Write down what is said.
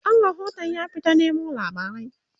ɗan rahotun ya fita Nemo labarai